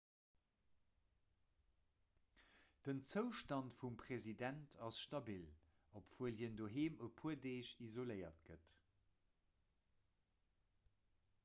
den zoustand vum president ass stabil obwuel hien doheem e puer deeg isoléiert gëtt